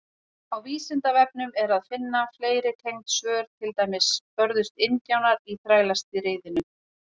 Á Vísindavefnum er að finna fleiri tengd svör, til dæmis: Börðust indjánar í Þrælastríðinu?